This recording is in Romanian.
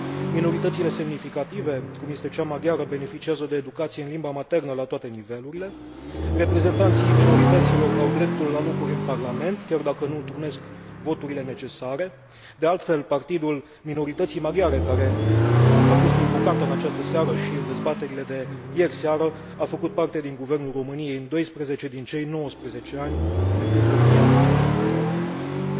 minoritățile semnificative, cum este cea maghiară, beneficiază de educație în limba maternă la toate nivelurile reprezentanții minorităților au dreptul la locuri în Parlament, chiar dacă nu întrunesc voturile necesare. De altfel, partidul minorității maghiare care a fost invocat în această seară și în dezbaterile de ieri seară, a făcut parte din Guvernul României în 12 din cei 19 ani de când România funcționează ca stat democratic.